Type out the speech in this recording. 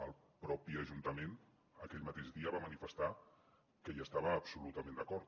el mateix ajuntament aquell mateix dia va manifestar que hi estava absolutament d’acord